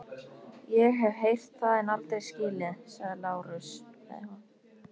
LÁRUS: Ég hef heyrt það en aldrei skilið.